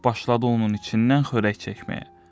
Başladı onun içindən xörək çəkməyə.